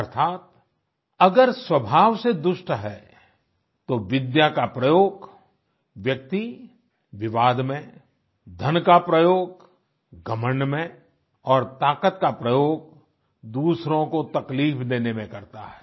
अर्थात अगर स्वभाव से दुष्ट है तो विद्या का प्रयोग व्यक्ति विवाद में धन का प्रयोग घमंड में और ताकत का प्रयोग दूसरों को तकलीफ देने में करता है